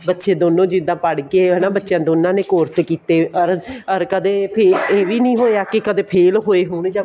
ਬੱਚੇ ਦੋਨੋ ਜਿੱਦਾਂ ਪੜ ਕੇ ਹਨਾ ਬੱਚਿਆਂ ਨੇ ਦੋਨਾ ਨੇ course ਕਿਤੇ or ਕਦੇ ਇਹ ਵੀ ਹੋਇਆ ਵੀ ਕਦੇ fail ਹੋਏ ਹੋਣ ਜਾਂ